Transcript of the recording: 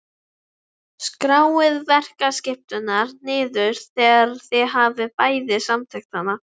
Skráið verkaskiptinguna niður þegar þið hafið bæði samþykkt hana.